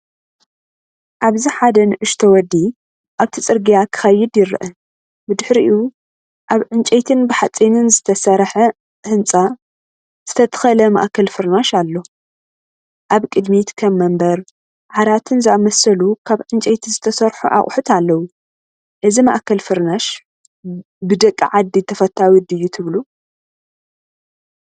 ኣብዚ ሓደ ንእሽቶ ወዲ ኣብቲ ጽርግያ ክኸይድ ይርአ። ብድሕሪኡ ኣብ ዕንጨይትን ብሓጺንን ዝተሰርሐ ህንጻ ዝተተኽለ ማእከል ፍርናሽ ኣሎ። ኣብ ቅድሚት ከም መንበር፡ ዓራትን ዝኣመሰሉ ካብ ዕንጨይቲ ዝተሰርሑ ኣቑሑት ኣለው። እዚ ማእከል ፍርናሽ ብደቂ ዓዲ ተፈታዊ ድዩ ትብሉ?